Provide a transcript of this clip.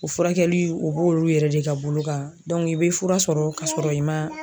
O furakɛli o b'olu yɛrɛ de ka bolo kan i bɛ fura sɔrɔ kasɔrɔ i ma